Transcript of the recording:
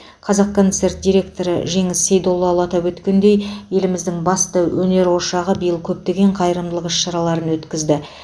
қазақконцерт директоры жеңіс сейдоллаұлы атап өткендей еліміздің басты өнер ошағы биыл көптеген қайырымдылық іс шараларын өткізді